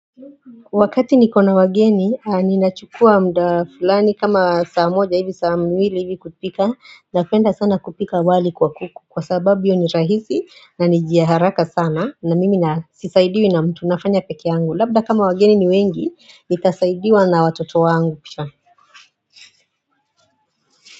Wakati nikona wageni ninachukua mda fulani kama saa moja hivi saa mwili hivi kupika na penda sana kupika wali kwa kuku kwa sababu yo ni rahizi na nijaharaka sana na mimi nasisaidiwi na mtu nafanya peke angu labda kama wageni ni wengi nitasaidiwa na watoto wa angu pisha.